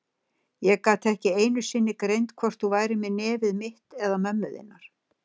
Ég gat ekki einu sinni greint hvort þú værir með nefið mitt eða mömmu þinnar.